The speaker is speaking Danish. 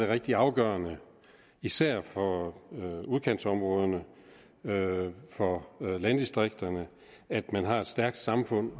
rigtig afgørende især for udkantsområderne for landdistrikterne at man har et stærkt samfund